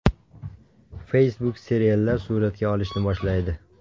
Facebook seriallar suratga olishni boshlaydi.